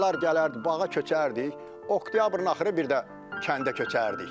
Uşaqlar gələrdi bağa köçərdi, oktyabrın axırı bir də kəndə köçərdik.